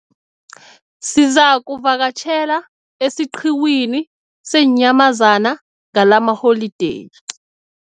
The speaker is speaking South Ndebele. Sizakuvakatjhela esiqhiwini seenyamazana ngalamaholideyi.